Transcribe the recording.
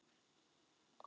Heyr mínar bænir og þrá.